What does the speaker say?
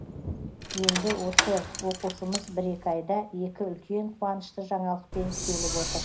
енді осы оқушымыз бір екі айда екі үлкен қуанышты жаңалықпен келіп отыр